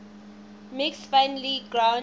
mixing finely ground